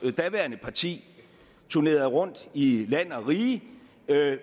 daværende parti turnerede rundt i land og rige